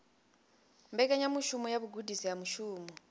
mbekanyamushumo ya vhugudisi ha mushumo